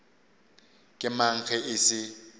ke mang ge e se